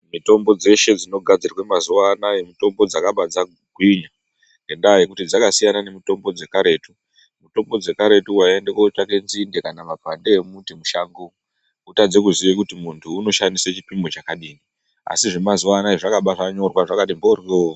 Mitombo dzeshe dzinogadzirwa mazuwanaya mitombo dzakabva dzagwinya ngendaa yekuti dzakasiyana nemitombo dzekaretu, mitombo dzekaretu waiende kutsvake nzinde kana makwande emuti mushango wotadze kuziya kuti muntu inoshandiswe chipimo chakadini asi zvemazuwanaya zvabva zvanyorwa zvakati mboryo.